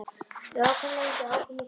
Við ókum lengi og ókum í hringi.